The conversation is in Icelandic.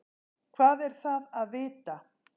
hvað er það að vita